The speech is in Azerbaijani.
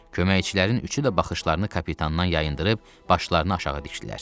Köməkçilərin üçü də baxışlarını kapitandan yayındırıb başlarını aşağı dikdilər.